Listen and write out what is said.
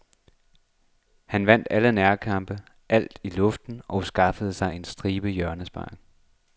Han vandt nærkampene, alt i luften og skaffede sig en stribe hjørnespark.